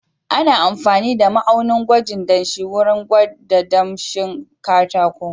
Ana amfani da ma'aunin gwajin danshi wurin gwada danshin katako.